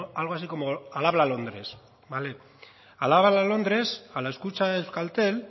algo así como al habla londres al habla londres a la escucha de euskaltel